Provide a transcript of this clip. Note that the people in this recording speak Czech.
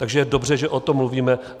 Takže je dobře, že o tom mluvíme.